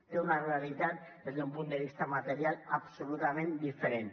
té una realitat des d’un punt de vista material absolutament diferent